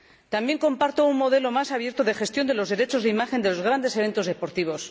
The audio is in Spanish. También comparto un modelo más abierto de gestión de los derechos de imagen de los grandes eventos deportivos.